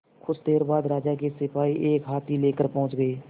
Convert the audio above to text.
कुछ देर बाद राजा के सिपाही एक हाथी लेकर पहुंच गए